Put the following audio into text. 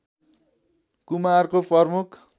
कुमारको प्रमुख